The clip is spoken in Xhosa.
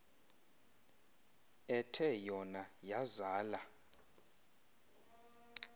ethe yona yazala